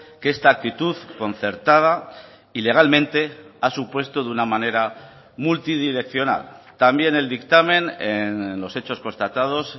que esta actitud concertada ilegalmente ha supuesto de una manera multidireccional también el dictamen en los hechos constatados